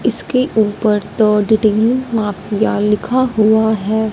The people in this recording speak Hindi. इसके ऊपर द डीडिंग माफिया लिखा हुआ है।